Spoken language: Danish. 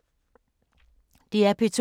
DR P2